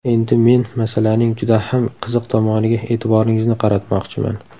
Endi men masalaning juda ham qiziq tomoniga e’tiboringizni qaratmoqchiman.